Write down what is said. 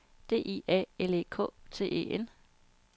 D I A L E K T E N